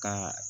Ka